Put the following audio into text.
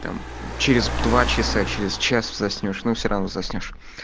там через два часа через час заснёшь но все равно заснёшь